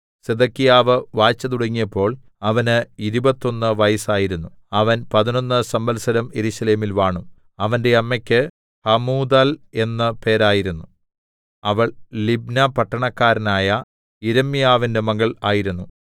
സിദെക്കീയാവ് വാഴ്ച തുടങ്ങിയപ്പോൾ അവന് ഇരുപത്തൊന്ന് വയസ്സായിരുന്നു അവൻ പതിനൊന്ന് സംവത്സരം യെരൂശലേമിൽ വാണു അവന്റെ അമ്മക്ക് ഹമൂതൽ എന്ന് പേരായിരുന്നു അവൾ ലിബ്ന പട്ടണക്കാരനായ യിരെമ്യാവിന്റെ മകൾ ആയിരുന്നു